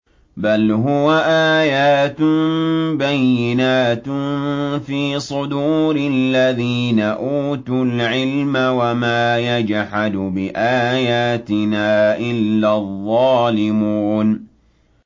بَلْ هُوَ آيَاتٌ بَيِّنَاتٌ فِي صُدُورِ الَّذِينَ أُوتُوا الْعِلْمَ ۚ وَمَا يَجْحَدُ بِآيَاتِنَا إِلَّا الظَّالِمُونَ